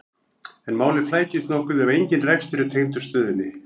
en málið flækist nokkuð ef engin rekstur er tengdur stöðinni